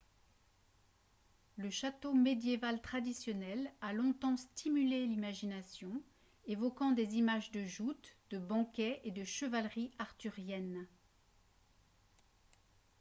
le château médiéval traditionnel a longtemps stimulé l'imagination évoquant des images de joutes de banquets et de chevalerie arthurienne